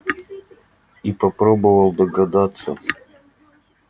и попробовал догадаться